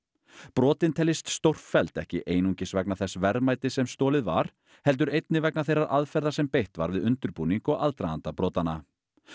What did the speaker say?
brotin teljist stórfelld ekki einungis vegna þess verðmætis sem stolið var heldur einnig vegna þeirrar aðferðar sem beitt var við undirbúning og aðdraganda brotanna